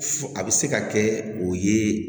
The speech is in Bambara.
Fo a bɛ se ka kɛ o ye